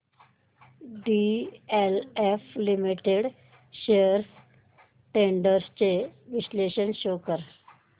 DLF limited shares trends चे विश्लेषण show कर